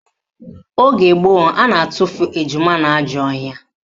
Oge gboo, a na-atufu ejima n'ajọ ọhịa